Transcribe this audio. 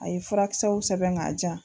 A ye furakisɛw sɛbɛn k'a jan